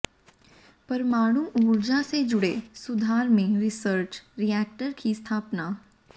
परमाणु ऊर्जा से जुड़े सुधार में रिसर्च रीएक्टर की स्थापना